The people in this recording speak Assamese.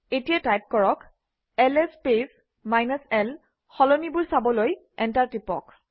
এতিয়া টাইপ কৰক - এলএছ স্পেচ l সলনিবোৰ চাবলৈ এণ্টাৰ টিপক